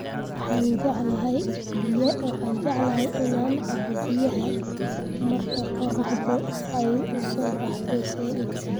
Waxaan jeclahay inaan cabbo biyaha marka qorraxdu ay u soo baxdo zaid.